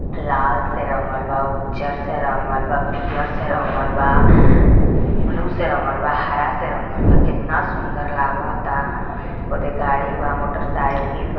लाल से रंगल बा उजर से रंगल बा पियर से रंगल बा ब्लू से रंगल बा हरा से रंगल बा कितना सुन्दर लगता ओजे गाड़ी बा मोटरसाइकिल |